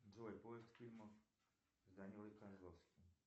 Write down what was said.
джой поиск фильмов с данилой козловским